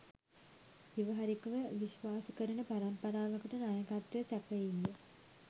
ව්‍යවහාරිකව විශ්වාස කරන පරම්පරාවකට නායකත්වය සැපයීය.